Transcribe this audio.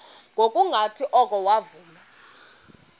ngokungathi oko wavuma